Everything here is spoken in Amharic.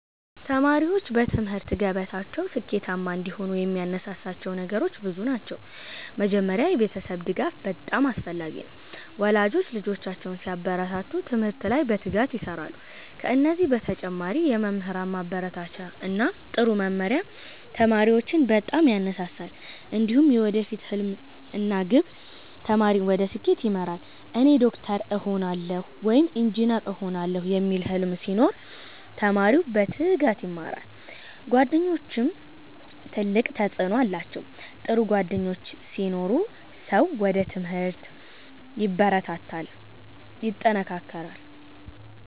ተማሪዎች በትምህርት ገበታቸው ስኬታማ እንዲሆኑ የሚያነሳሳቸው ነገሮች ብዙ ናቸው። መጀመሪያ የቤተሰብ ድጋፍ በጣም አስፈላጊ ነው፤ ወላጆች ልጆቻቸውን ሲያበረታቱ ትምህርት ላይ በትጋት ይሰራሉ። ከዚህ በተጨማሪ የመምህራን ማበረታቻ እና ጥሩ መመሪያ ተማሪዎችን በጣም ያነሳሳል። እንዲሁም የወደፊት ሕልም እና ግብ ተማሪን ወደ ስኬት ይመራል። “እኔ ዶክተር እሆናለሁ” ወይም “ኢንጂነር እሆናለሁ” የሚል ሕልም ሲኖር ተማሪው በትጋት ይማራል። ጓደኞችም ትልቅ ተጽዕኖ አላቸው፤ ጥሩ ጓደኞች ሲኖሩ ሰው ወደ ትምህርት ይበረታታል።